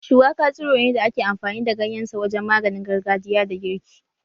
Shuwaka tsiro ne da ake amfani da ganyen sa wajen maganin gargajiya da girki